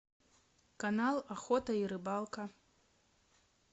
канал охота и рыбалка